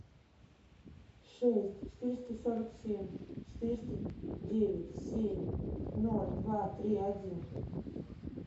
шесть четыреста сорок семь четыреста девять семь ноль два три один